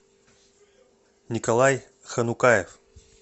николай ханукаев